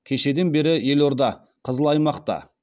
кешеден бері елорда қызыл аймақта